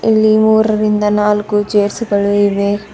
ಇಲ್ಲಿ ಮೂರರಿಂದ ನಾಲ್ಕು ಚೇರ್ಸ ಗಳು ಇವೆ.